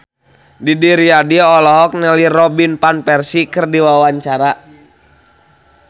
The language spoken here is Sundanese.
Didi Riyadi olohok ningali Robin Van Persie keur diwawancara